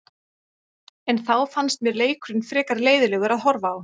En þá fannst mér leikurinn frekar leiðinlegur að horfa á.